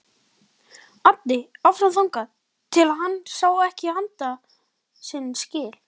Æddi áfram þangað til hann sá ekki handa sinna skil.